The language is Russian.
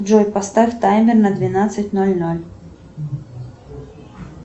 джой поставь таймер на двенадцать ноль ноль